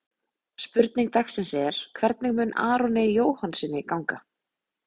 Spurning dagsins er: Hvernig mun Aroni Jóhannssyni ganga?